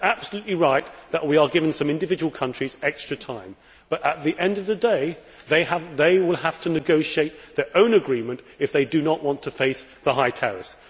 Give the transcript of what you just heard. And it is absolutely right that we are giving some individual countries extra time, but at the end of the day, they will have to negotiate their own agreements if they do not want to face the high tariffs.